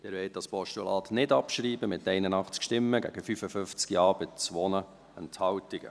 Sie wollen dieses Postulat nicht abschreiben, mit 81 Nein- gegen 55 Ja-Stimmen bei 2 Enthaltungen.